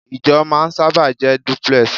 Ìjọ máa sábà jẹ́ duplex